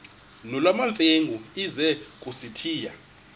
nolwamamfengu ize kusitiya